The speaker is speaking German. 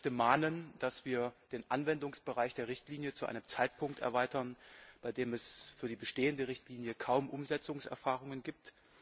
Ich möchte mahnen, dass wir den Anwendungsbereich der Richtlinie zu einem Zeitpunkt erweitern, bei dem es für die bestehende Richtlinie kaum Umsetzungserfahrungen gibt.